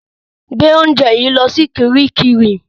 Gbé oúnjẹ yìí lọ sí kiríkirì!